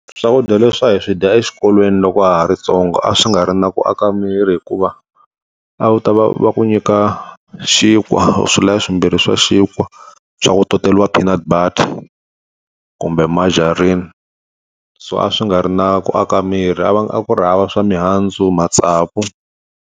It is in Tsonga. Swakudya leswi hi swi dya exikolweni loko ha ri tsongo a swi nga ri na ku aka miri hikuva a wu ta va va ku nyika xinkwa swilayi swimbirhi swa xinkwa swa ku toteliwa peanut butter kumbe majarini so a swi nga ri na ku aka miri a va a ku ri hava swa mihandzu matsavu.